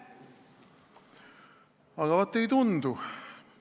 Aga vaat ei tundu.